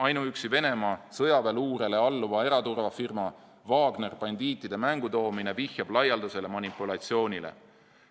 Ainuüksi Venemaa sõjaväeluurele alluva eraturvafirma Wagner bandiitide mängu toomine vihjab laialdasele manipulatsioonile.